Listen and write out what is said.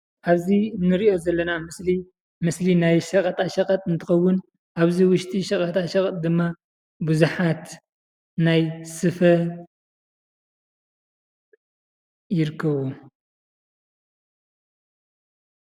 ኣብዚ እንሪኦ ዘለና ምስሊ ምስሊ ናይ ሸቐጣ ሸቐጥ እንትኸውን ኣብዚ ውሽጢ ሸቐጣ ሸቐጥ ድማ ብዙሓት ናይ ስፈ ይርከቡ፡፡